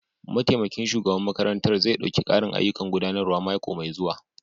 Mataimakin shugaban makarantar zai ɗauki ƙarin ayyukan gudanarwa mako mai zuwa.